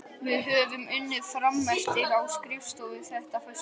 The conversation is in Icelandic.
Við höfðum unnið frameftir á skrifstofunni þetta föstudagskvöld.